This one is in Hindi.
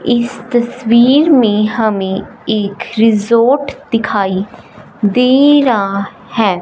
इस तस्वीर में हमें एक रिसॉर्ट दिखाई दे रहा है।